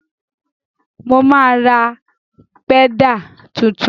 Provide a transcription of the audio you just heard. Mo máa ra pẹ́dà tuntun.